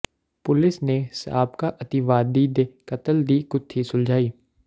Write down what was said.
police ਨੇ ਸਾਬਕਾ ਅਤਿਵਾਦੀ ਦੇ ਕਤਲ ਦੀ ਗੁੱਥੀ ਸੁਲਝਾਈ